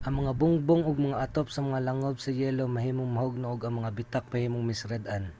ang mga bungbong ug mga atop sa mga langob sa yelo mahimong mahugno ug ang mga bitak mahimong masirad-an